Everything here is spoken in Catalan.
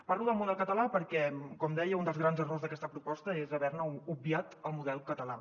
parlo del model català perquè com deia un dels grans errors d’aquesta proposta és haver hi obviat el model català